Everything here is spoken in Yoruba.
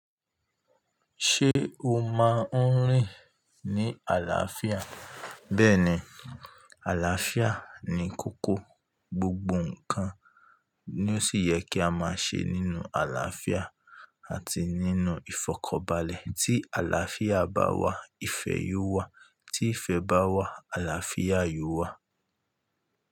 Ṣé o máa ń rìn ní àlàáfíà? Bẹ́ẹ̀ni, àlàáfíà ni kókó, gbogbo ǹnkan ni ó sì yẹ kí a máa ṣe nínú àlàáfíà àti nínú ìfọ̀kanbalẹ̀. Tí àlàáfíà bá wà, ìfẹ́ yóò wà. Tí ìfẹ́ bá wà, àlàáfíà yóò wà.